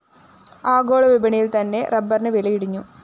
ആഗോളവിപണിയില്‍ത്തന്നെ റബ്ബറിന് വില ഇടിഞ്ഞു